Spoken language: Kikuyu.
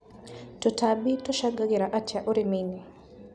Tũtambi tũcangagĩra atĩa ũrĩminĩ.